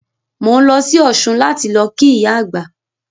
Mò ń lọ sí Ọ̀ṣun láti lọ kí ìyá àgbà